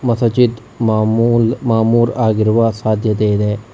ಮಸಜಿದ್ ಮಾಮೂಲ್ ಮಾಮೂಲ್ ಆಗಿರುವ ಸಾಧ್ಯತೆ ಇದೆ.